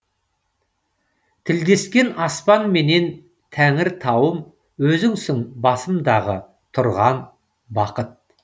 тілдескен аспанменен тәңіртауым өзіңсің басымдағы тұрған бақыт